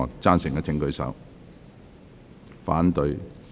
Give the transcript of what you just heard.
贊成的請舉手。